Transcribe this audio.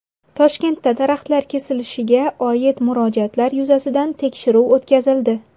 Toshkentda daraxtlar kesilishiga oid murojaatlar yuzasidan tekshiruv o‘tkazildi.